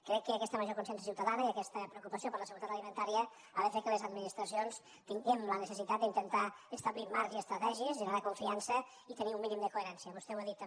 crec que aquesta major consciència ciutadana i aquesta preocupació per la seguretat alimentària han de fer que les administracions tinguem la necessitat d’intentar establir marcs i estratègies generar confiança i tenir un mínim de coherència vostè ho ha dit també